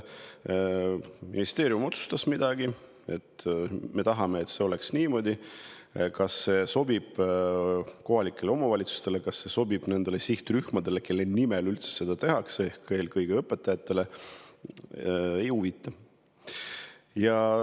Ministeerium otsustas midagi ja tahab, et see oleks niimoodi, aga see, kas see ka kohalikele omavalitsustele sobib, kas see sobib nendele sihtrühmadele, kelle nimel seda üldse tehakse, ehk eelkõige õpetajatele, neid ei huvita.